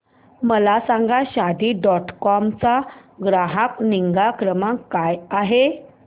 मला सांगा Shaadi dot com चा ग्राहक निगा क्रमांक काय आहे